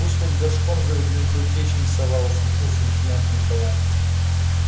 пусть хоть горшком зовёт лишь бы в печь не совал усмехнулся лейтенант николай